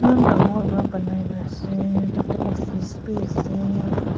eman dangor para banaina ase tate office bi ase.